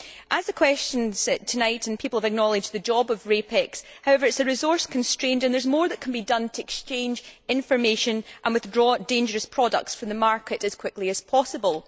As in the question tonight, people have acknowledged the job of RAPEX. However, it is resource constrained and there is more that can be done to exchange information and withdraw dangerous products from the market as quickly as possible.